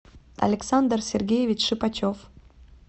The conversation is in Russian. александр сергеевич шипачев